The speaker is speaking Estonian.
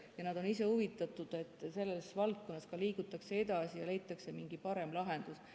Ja nad on ise huvitatud, et selles valdkonnas ka liigutakse edasi ja leitakse mingi parem lahendus.